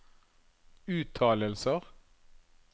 uttalelser